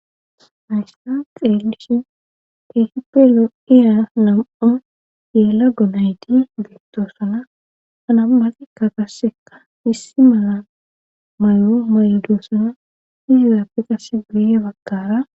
Haysan xeelishin keehipelo ira nam7o yela gonayti geettoosana hanammatikka qassekka issi mala may7o mayodoossana izizaafe qasse guye bakkara